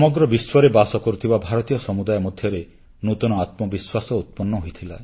ସମଗ୍ର ବିଶ୍ୱରେ ବାସ କରୁଥିବା ଭାରତୀୟ ସମୁଦାୟ ମଧ୍ୟରେ ନୂତନ ଆତ୍ମବିଶ୍ୱାସ ଉତ୍ପନ୍ନ ହୋଇଥିଲା